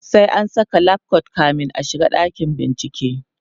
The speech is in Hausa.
sai an Saka lab coat kamin a shiga dakin bincike